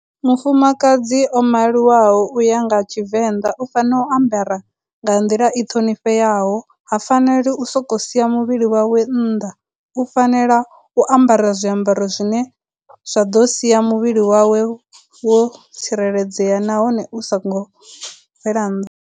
Mufumakadzi o maliwaho uya nga Tshivenḓa u fanela u ambara nga nḓila i ṱhonifheaho, ha faneli u soko sia muvhili wawe nnḓa, u fanela u ambara zwiambaro zwine zwa ḓo sia muvhili wawe wo tsireledzea nahone u songo bvela nnḓa.